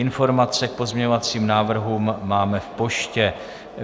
Informace k pozměňovacím návrhům máme v poště.